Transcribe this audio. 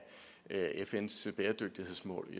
fns bæredygtighedsmål